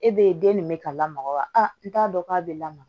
E be ye den nin bɛ ka lamaga wa a t'a dɔn k'a be lamaga